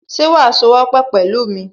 Ṣe wàá sowọ́pọ̀ pẹ̀lú mi